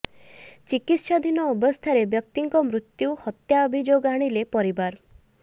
ଚିକିତ୍ସାଧିନ ଅବସ୍ଥାରେ ବ୍ୟକ୍ତିଙ୍କ ମୃତ୍ୟୁ ହତ୍ୟା ଅଭିଯୋଗ ଆଣିଲେ ପରିବାର